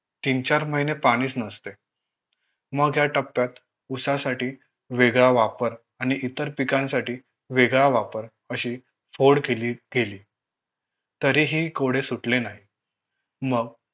तीन चार महिने पाणीच नसते मग या टप्प्यात ऊसासाठी वेगळा वापर आणि इतर पिकांसाठी वेगळा वापर अशी फोड केली गेली तरीही कोडे सुटले नाही मग